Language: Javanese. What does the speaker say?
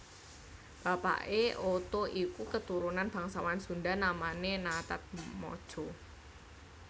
Bapake Oto iku keturunan bangsawan Sunda namane Nataatmadja